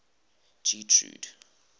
getrude